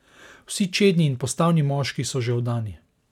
Vsi čedni in postavni moški so že oddani.